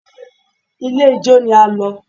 Ilé ijó ni a lọ